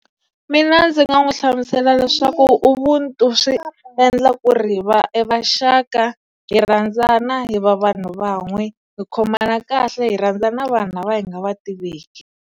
Mina ndzi nga n'wi hlamusela leswaku ubuntu swi endla ku ri hi va evaxaka, hi rhandzana hi va vanhu van'we, hi khomana kahle hi rhandzana vanhu lava hi nga va tiveki.